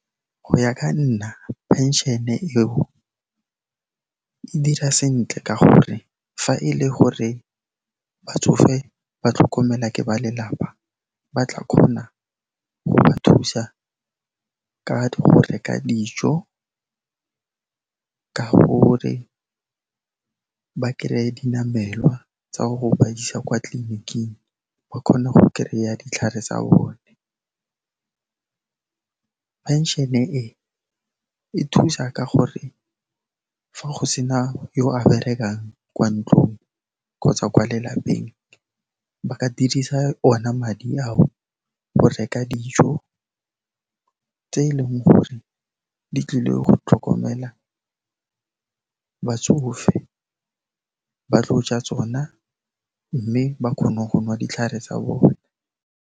Go ya ka nna, phenšene eo, e dira sentle ka gore fa e le gore batsofe ba tlhokomelwa ke ba lelapa, ba tla kgona go ba thusa ka go reka dijo, ka gore ba kry-e dinamelwa tsa go ba isa kwa tleliniking, ba kgone go kry-a ditlhare tsa bone. Phenšene e, e thusa ka gore fa go sena yo a berekang kwa ntlong kgotsa kwa lelapeng, ba ka dirisa ona madi ao go reka dijo tse e leng gore di tlile go tlhokomela batsofe, ba tlo ja tsona mme ba kgone go nwa ditlhare tsa bona.